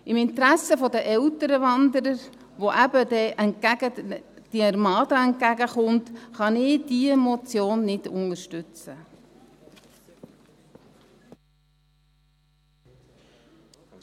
Im Interesse der älteren Wanderer, denen dann diese Armada entgegenkommt, kann ich diese Motion nicht unterstützen.